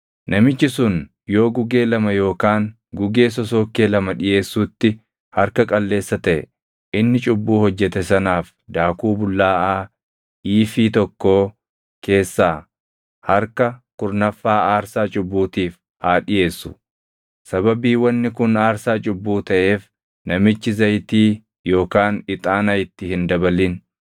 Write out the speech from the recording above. “ ‘Namichi sun yoo gugee lama yookaan gugee sosookkee lama dhiʼeessuutti harka qalleessa taʼe inni cubbuu hojjete sanaaf daakuu bullaaʼaa iifii tokkoo keessaa harka kurnaffaa aarsaa cubbuutiif haa dhiʼeessu. Sababii wanni kun aarsaa cubbuu taʼeef namichi zayitii yookaan ixaana itti hin dabalin.